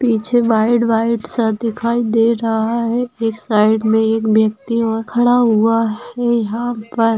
पीछे white white सा दिखाई दे रहा है एक साइड मे एक व्यक्ति वहा खड़ा हुआ है यहा पर --